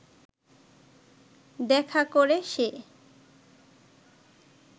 দেখা করে সে